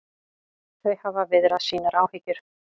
Þau hafa viðrað sínar áhyggjur